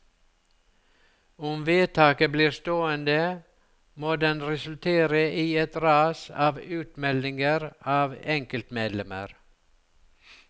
Om vedtaket blir stående, må den resultere i et ras av utmeldinger av enkeltmedlemmer.